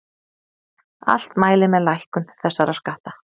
Allt mælir með lækkun þessara skatta